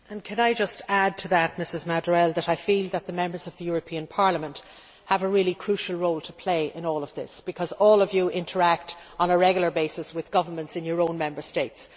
Can I just add to that, Ms Madurell, that I feel that the Members of the European Parliament have a really crucial role to play in all of this, because all of you interact on a regular basis with the governments in your own Member States.